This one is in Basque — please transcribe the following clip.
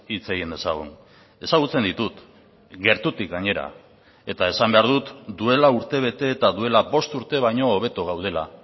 hitz egin dezagun ezagutzen ditut gertutik gainera eta esan behar dut duela urtebete eta duela bost urte baino hobeto gaudela